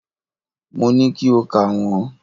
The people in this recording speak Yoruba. Mo ní kí o kà wọ́n.